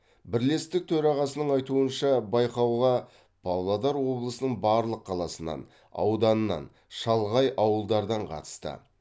бірлестік төрағасының айтуынша байқауға павлодар облысының барлық қаласынан ауданынан шалғай ауылдардан қатысты